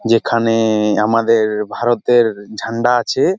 যেখানে-এ আমাদের-র ভারতের ঝান্ডা আছে-এ।